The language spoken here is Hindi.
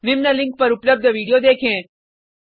निम्न लिंक पर उपलब्ध वीडियो देखें